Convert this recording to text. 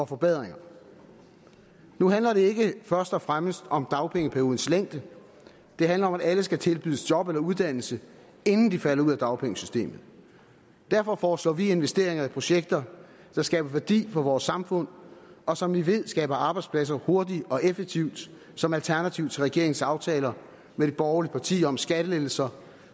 forbedringer nu handler det ikke først og fremmest om dagpengeperiodens længde det handler om at alle skal tilbydes job eller uddannelse inden de falder ud af dagpengesystemet derfor foreslår vi investeringer i projekter der skaber værdi for samfundet og som vi ved skaber arbejdspladser hurtigt og effektivt som alternativ til regeringens aftaler med de borgerlige partier om skattelettelser